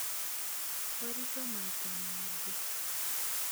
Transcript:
ũritũ maita mangĩ